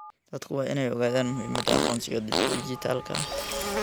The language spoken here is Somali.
Dadku waa inay ogaadaan muhiimada aqoonsiga dhijitaalka ah.